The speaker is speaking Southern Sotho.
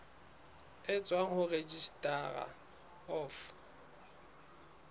e tswang ho registrar of